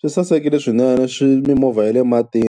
swi sasekile swinene, mimovha ya le matini.